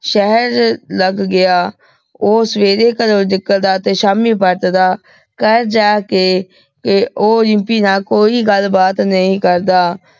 ਸ਼ਾਹੇਰ ਲੱਗ ਗਯਾ ਊ ਸਵੇਰੇ ਘਰੋਂ ਨਿਕਲਦਾ ਤੇ ਸ਼ਾਮੀ ਬਚਦਾ ਘਰ ਜਾ ਕੇ ਤੇ ਊ ਰਿਮਪੀ ਨਾਲ ਕੋਈ ਗਲ ਬਾਤ ਨਹੀ ਕਰਦਾ